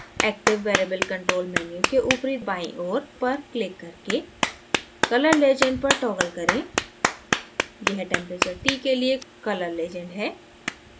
active variable control menu के ऊपरी बाईं ओर पर क्लिक करके color legend पर toggle करें यह temperature t के लिए colour legend है